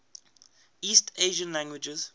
east asian languages